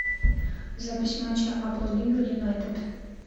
запись матча апл ливер юнайтед